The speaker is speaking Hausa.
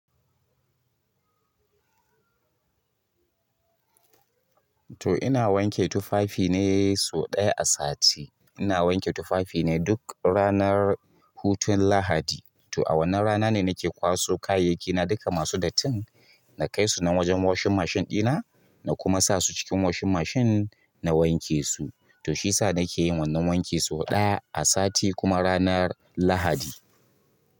To ina wanke tufafi ne sau ɗaya a sati. Ina wanke tufafi ne duk ranar hutun Lahadi. To a wannan rana ne nake kwaso kayyakina duka masu datin, na kai su nan wajen washin mashin ɗina na kuma sa su cikin washin mashin na wanke su. To shi yasa nake yin wannan wanki sau ɗaya a sati kuma ranar Lahadi.